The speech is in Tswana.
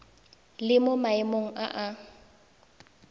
le mo maemong a a